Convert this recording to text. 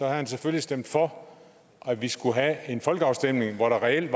han selvfølgelig stemt for at vi skulle have en folkeafstemning hvor der reelt